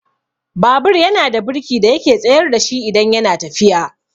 Babur yana da birki da yake tsayar dashi idan yana tafiya.